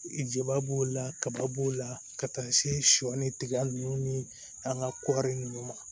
Jaba b'o la kaba b'o la ka taa se sɔ ni tigɛ nunnu ni an ka kɔɔri nunnu ma